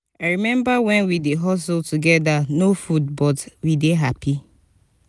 i rememba wen we dey hustle togeda no food but we dey hapi.